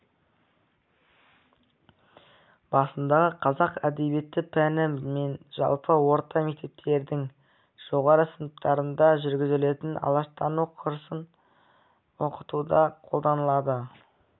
басындағы қазақ әдебиеті пәні мен жалпы орта мектептердің жоғары сыныптарында жүргізілетін алаштану курсын оқытуда қолданылады